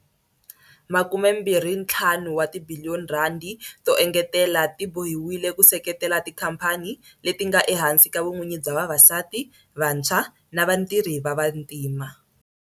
R25 wa tibiliyoni to engetela ti bohiwile ku seketela tikhamphani leti nga ehansi ka vun'wini bya vavasati, vantshwa na vatirhi va vantima.